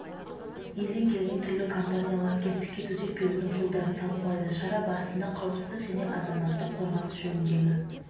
елден келген түрлі компания лаңкестікке төтеп берудің жолдарын талқылайды шара барысында қауіпсіздік және азаматтық қорғаныс жөніндегі